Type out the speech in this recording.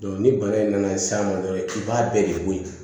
ni bana in nana s'a ma dɔrɔn i b'a bɛɛ de bɔ ye